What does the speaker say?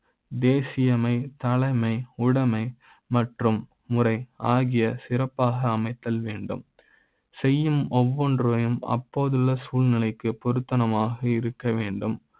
தேசிய அமை தலைமை, உடமை மற்றும் முறை ஆகியோர் சிறப்பாக அமை தல் வேண்டும் செய்யும் ஒவ்வொன்றை யும் அப்போதுள்ள சூழ்நிலை க்குப் பொருத்த மாக இருக்க வேண்டும்